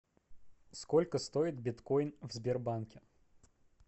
сколько стоит биткоин в сбербанке